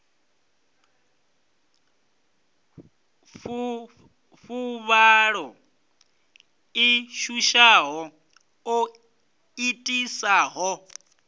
fuvhalo ḽi shushaho ḽo itisaho